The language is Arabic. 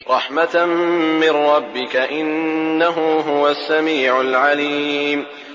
رَحْمَةً مِّن رَّبِّكَ ۚ إِنَّهُ هُوَ السَّمِيعُ الْعَلِيمُ